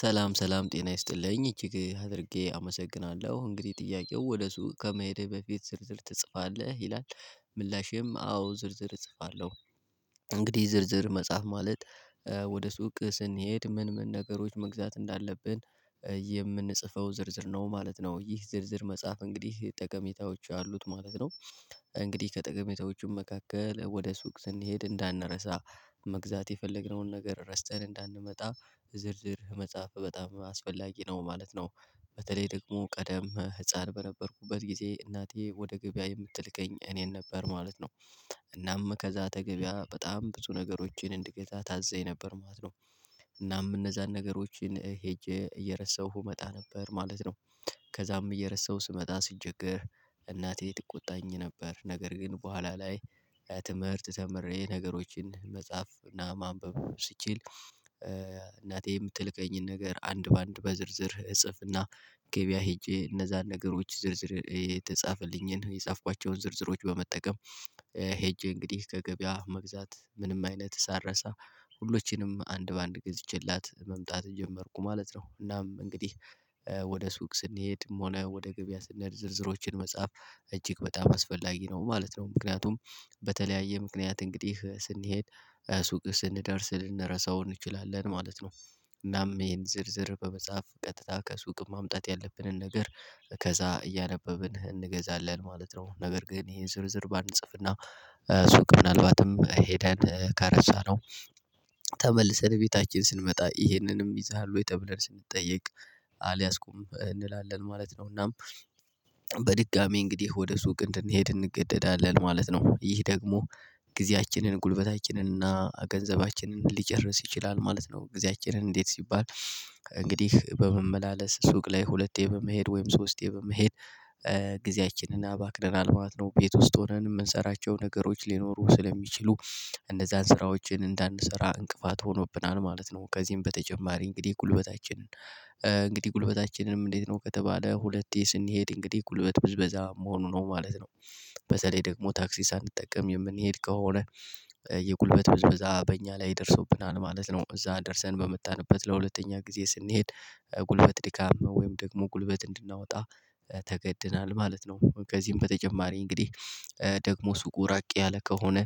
ሰላም ሰላም ጤና ይስጥልኝ እጅግ አድርጌ አመሰግናለሁ እንግዲህ ጥያቄው ወደ ሱቅ ከመሄድህ በፊት ዝርዝር ትጽፋለህ ይላል? ምላሼም አዎ ዝርዝር እጽፋለሁ። እንግዲህ ዝርዝር መጻፍ ማለት ወደ ሱቅ ስንሄድ ምን ምን ነገሮች መግዛት እንዳለብን የምንጽፈው ዝርዝር ነው ማለት ነው። ይህ ዝርዝር መጻፍ እንግዲህ ጠቀሜታዎች አሉት ማለት ነው። እንግዲህ ከጠቀሜታዎቹም መካከል ወደ ሱቅ ስንሄድ እንዳንረሳ መግዛት የፈለግነውን ነገር ረስተን እንዳንመጣ ዝርዝር መጻፍ በጣም አስፈላጊ ነው ማለት ነው። በተለይ ደግሞ ቀደም ህፃን በነበርኩበት ጊዜ እናቴ ወደ ገበያ የምትልከኝ እኔን ነበር ማለት ነው። እናም ከዛ ከገቢያ በጣም ብዙ ነገሮችን እንድገዛ ታዘኝ ነበር ማለት ነው። እናም እነዛን ነገሮችን ሄጄ እየረሳሁ እመጣ ነበር ማለት ነው። ከዛም እየረሳሁ ስመጣ ስቸገር እናቴ ትቆጣኝ ነበር ነገር ግን በኋላ ላይ። ለትምህርት ተምሬ ነገሮችን መጻፍ እና ማንበብ ስችል እናቴ የምትልከኝን ነገር አንድ በአንድ በዝርዝር እጽፍና ገበያ ሄጄ እነዛን ነገሮች ዝርዝር የተጻፈልኝን የጻፍኳቸውን ዝርዝሮች በመጠቀም። ሄጄ እንግዲህ ከገበያ መግዛት ምንም አይነት ሳልረሳ ሁሎችንም አንድ በአንድ ገዝቼላት መምጣት ጀመርኩ ማለት ነው። እናም እንግዲህ ወደ ሱቅ ስንሄድም ሆነ ወደ ገበያ ስንሄድ ዝርዝሮችን መጽሐፍ እጅግ በጣም አስፈላጊ ነው ማለት ነው። ምክንያቱም በተለያየ ምክንያት እንግዲህ ስንሄድ ሱቅ ስንደርስ ልንረሳው እንችላለን ማለት ነው። እናም ይሄን ዝርዝር በመጻፍ ቀጥታ ከሱቅ ማምጣት ያለብንን ነገር ከዛ እያነበብን እንገዛለን ማለት ነው። ነገር ግን ይሄን ዝርዝር ባንጽፍና ሱቅ ምናልባትም ሄደን ከረሳነው ተመልሰን ቤታችን ስንመጣ ይሄንንም ይዘሃል ወይ ተብለን ስንጠየቅ አልያዝኩም እንላለን ማለት ነው። እናም በድጋሚ እንግዲህ ወደ ሱቅ እንድንሄድ እንገደዳለን ማለት ነው። ይህ ደግሞ ጊዜያችንን ጉልበታችንን እና ገንዘባችንን ሊጨርስ ይችላል ማለት ነው። ጊዜያችንን እንዴት ሲባል እንግዲህ በመመላለስ ሱቅ ላይ ሁለቴ በመሄድ ወይም ሶስቴ በመሄድ ጊዜያችንን አባክነናል ማለት ነው። ቤት ውስጥ ሆነን የምንሰራቸው ነገሮች ሊኖሩ ስለሚችሉ እነዛን ስራዎችን እንዳንሰራ እንቅፋት ሆኖብናል ማለት ነው። ከዚህም በተጨማሪ እንግዲህ ጉልበታችንን እንግዲህ ጉልበታችንንም እንዴት ነው ከተባለ ሁለቴ ስንሄድ እንግዲህ ጉልበት ብዝበዛ መሆኑ ነው ማለት ነው። በዛ ላይ ደግሞ ታክሲ ሳንጠቀም የምንሄድ ከሆነ የጉልበት ብዝብዛ በእኛ ላይ ደርሶብናል ማለት ነው። እዛ ደርሰን በመጣንበት ለሁለተኛ ጊዜ ስንሄድ ጉልበት ድካም ነው ወይም ደግሞ ጉልበት እንድናወጣ ተገድናል ማለት ነው። ከዚህም በተጨማሪ እንግዲህ ደግሞ ሱቁ ራቅ ያለ ከሆነ